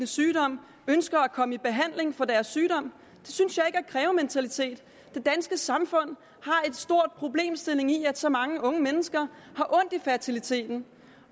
sygdom ønsker at komme i behandling for deres sygdom det synes jeg ikke er krævementalitet det danske samfund har en stor problemstilling i forbindelse med at så mange unge mennesker har ondt i fertiliteten